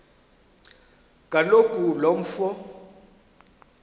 kaloku lo mfo